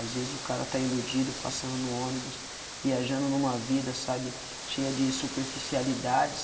Às vezes o cara está iludido, passando no ônibus, viajando numa vida, sabe, cheia de superficialidades,